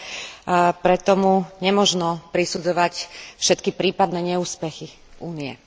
A preto mu nemožno prisudzovať všetky prípadné neúspechy Únie.